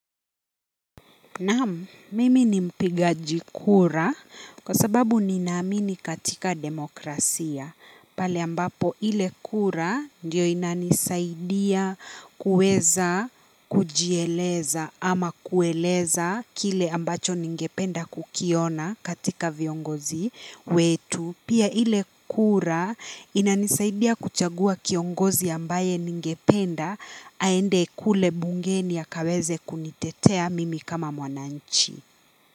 Naam, mimi ni mpigaji kura kwa sababu ninaamini katika demokrasia. Pale ambapo ile kura ndio inanisaidia kuweza kujieleza ama kueleza kile ambacho ningependa kukiona katika viongozi wetu. Pia ile kura inanisaidia kuchagua kiongozi ambaye ningependa aende kule bungeni akaweze kunitetea mimi kama mwananchi.